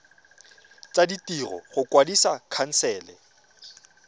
tsa ditiro go kwadisa khansele